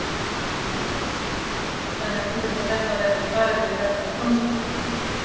Kristján Már Unnarsson: Þannig að þú vilt að þetta verði farið með þetta fyrir dómstóla?